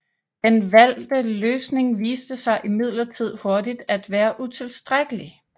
Den valgte løsning viste sig imidlertid hurtigt at være utilstrækkelig